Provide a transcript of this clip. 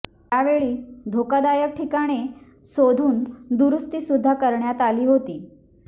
यावेळी धोकादायक ठिकाणे शोधून दुरुस्ती सुद्धा करण्यात आली होती